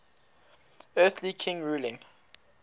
earthly king ruling